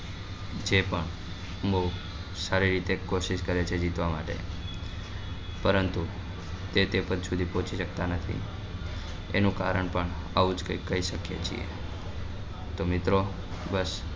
તે પણ બઉ સારી રીતે કોશિશ કરે છે જીતવા માટે પરંતુ તે પદ સુધી પહોચી સકતા નથી એનું કારણ પણ આવું જ કઈક હોઈ સકે છે તો મિત્રો બસ